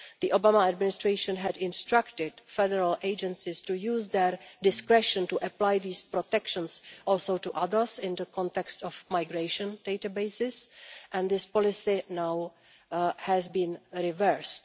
The Obama Administration had instructed federal agencies to use their discretion also to apply these protections to others in the context of migration databases and this policy has now has been reversed.